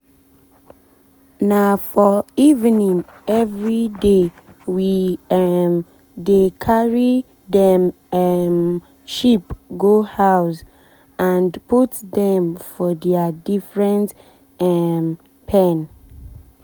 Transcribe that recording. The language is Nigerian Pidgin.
na for evening everydaywe um dey carry dem um sheep go house and put dem for dia different um pen.